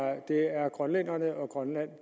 grønlænderne og grønland